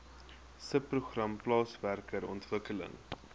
subprogram plaaswerker ontwikkeling